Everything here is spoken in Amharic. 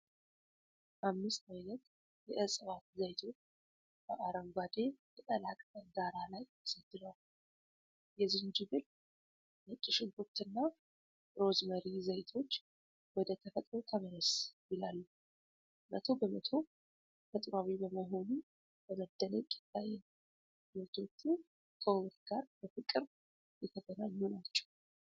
አምስት ዓይነት የዕፅዋት ዘይቶች በአረንጓዴ ቅጠላቅጠል ዳራ ላይ ተሰድረዋል። የዝንጅብል፣ ነጭ ሽንኩርትና ሮዝሜሪ ዘይቶች "ወደ ተፈጥሮ ተመለስ" ይላሉ። መቶ በመቶ ተፈጥሯዊ መሆኑ በመደነቅ ይታያል። ምርቶቹ ከውበት ጋር በፍቅር የተገናኙ ናቸው።